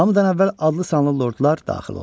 Hamıdan əvvəl adlı sanlı lordlar daxil oldular.